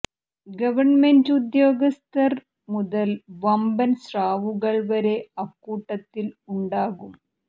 government ഉദ്യോഗസ്ഥർ മുതൽ വമ്പൻ സ്രാവുകൾ വരെ അക്കൂട്ടത്തിൽ ഉണ്ടാകും